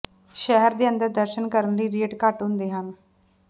ਸ਼ਹਿਰ ਦੇ ਅੰਦਰ ਦਰਸ਼ਨ ਕਰਨ ਲਈ ਰੇਟ ਘੱਟ ਹੁੰਦੇ ਹਨ